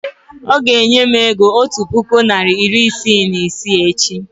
ọ ga-enye m ego otu puku naịra iri isii na isii echi